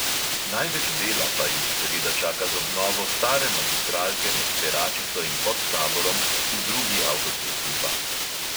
Največ dela pa jih seveda čaka z obnovo stare magistralke med peračico in podtaborom v drugi avtocestni pas.